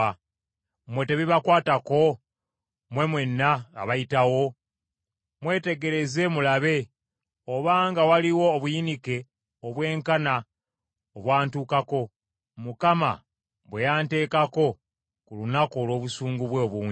“Mmwe tekibakwatako, mmwe mwenna abayitawo? mwetegereze mulabe obanga waliwo obuyinike obwenkana, obwantukako, Mukama bwe yanteekako ku lunaku olw’obusungu bwe obungi.